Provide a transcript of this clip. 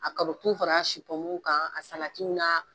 A karɔtiw fara a su pɔmuw kan a salatiw na.